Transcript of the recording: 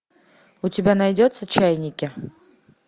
у тебя найдется чайники